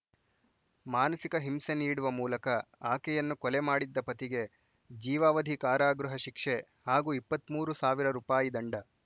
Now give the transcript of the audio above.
ಮಾನಸಿಕ ಹಿಂಸೆ ನೀಡುವ ಮೂಲಕ ಆಕೆಯನ್ನು ಕೊಲೆ ಮಾಡಿದ್ದ ಪತಿಗೆ ಜೀವಾವಧಿ ಕಾರಾಗೃಹ ಶಿಕ್ಷೆ ಹಾಗೂ ಇಪ್ಪತ್ತ್ ಮೂರು ಸಾವಿರ ರೂಪಾಯಿ ದಂಡ